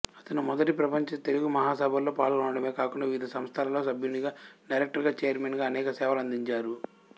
అతను మొదటి ప్రపంచ తెలుగు మహాసభలలో పాల్గొనడమే కాకుండా వివిధ సంస్థలలో సభ్యునిగా డైరక్టరుగా చైర్మన్ గా అనేక సేవలనందించారు